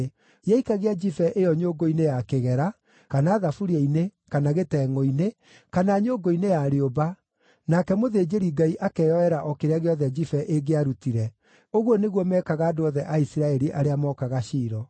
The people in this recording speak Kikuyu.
Yaikagia njibe ĩyo nyũngũ-inĩ ya kĩgera, kana thaburia-inĩ, kana gĩtengʼũ-inĩ, kana nyũngũ-inĩ ya rĩũmba, nake mũthĩnjĩri-Ngai akeyoera o kĩrĩa gĩothe njibe ĩngĩarutire. Ũguo nĩguo meekaga andũ othe a Isiraeli arĩa mookaga Shilo.